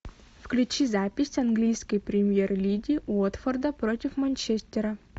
включи запись английской премьер лиги уотфорда против манчестера